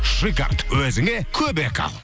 шикард өзіңе көмек ал